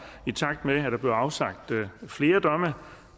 i takt med at der bliver afsagt flere domme